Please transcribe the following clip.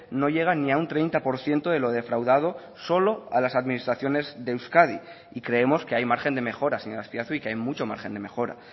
no llega ni a un treinta por ciento de lo defraudado solo a las administraciones de euskadi y creemos que hay margen de mejora señor azpiazu y que hay mucho margen de mejora